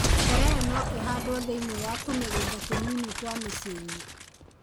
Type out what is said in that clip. Terere no ĩhandwo thĩiniĩ wa tũmĩgunda tũnini twa miciĩ-inĩ.